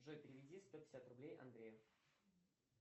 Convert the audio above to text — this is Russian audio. джой переведи сто пятьдесят рублей андрею